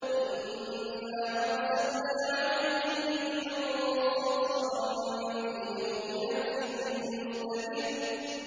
إِنَّا أَرْسَلْنَا عَلَيْهِمْ رِيحًا صَرْصَرًا فِي يَوْمِ نَحْسٍ مُّسْتَمِرٍّ